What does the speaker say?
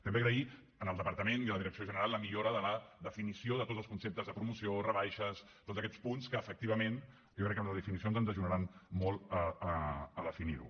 també agrair al departament i a la direcció general la millora de la definició de tots els conceptes de promoció rebaixes tots aquests punts que efectivament jo crec que les definicions ens ajudaran molt a definir ho